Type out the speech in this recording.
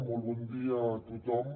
molt bon dia a tothom